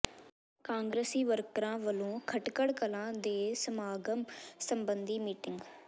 ਕਾਂਗਰਸੀ ਵਰਕਰਾਂ ਵਲੋਂ ਖਟਕੜ ਕਲਾਂ ਦੇ ਸਮਾਗਮ ਸਬੰਧੀ ਮੀਟਿੰਗ